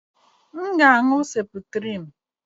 M ga-aṅụ septrim.